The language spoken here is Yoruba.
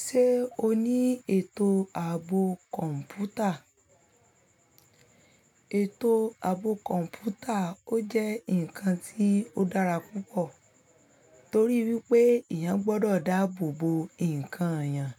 Ṣé o ní ètò ààbò kọ̀ǹpútà? Ètò ààbò kọ̀ǹpútà, ó jẹ́ ǹkan tí ó dára púpọ̀ torí wípé eyàn gbọdọ̀ dáàbò bo ǹkan èèyàn